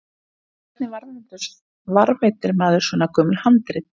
En hvernig varðveitir maður svo gömul handrit?